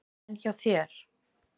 En hjá þér?